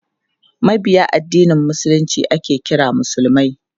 Mabiya addinin Musulunci ake kira musulmai.